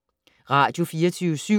Radio24syv